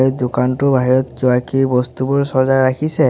দোকানটোৰ বাহিৰত কিবা কিবি বস্তুবোৰ চজাই ৰাখিছে।